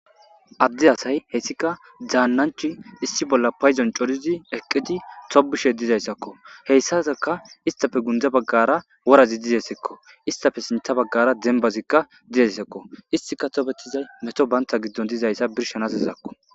Adde asay hessika daannanch issi bolla payzon corizi eqqidi tobushe dizayssakko heyssataka istafe gundza baggara worazi dizesekko istafe sintha baggara dembazikka dizeyssekko istika tobettizay meto banta giddon dizayssa birshanasizakko.